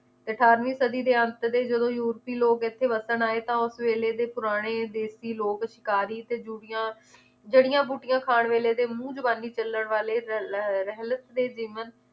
ਅਠਾਰਵੀਂ ਸਦੀ ਤੇ ਅੰਤ ਤੇ ਜਦੋਂ ਯੂਰਪੀ ਲੋਗ ਇਥੇ ਵਸਣ ਆਏ ਤਾਂ ਉਸ ਵੇਲੇ ਦੇ ਪੁਰਾਣੇ ਦੇਸੀ ਲੋਗ ਅਧਿਕਾਰੀ ਤੇ ਜੁੜੀਆਂ ਜੜੀਆਂ ਬੂਟਿਆਂ ਖਾਨ ਵੇਲੇ ਦੇ ਮੂੰਹ ਜ਼ੁਬਾਨੀ ਚੱਲਣ ਵਾਲੇ ਰ~ ਲ~ ਰੇਹਲਤ ਤੇ ਜੀਵਨ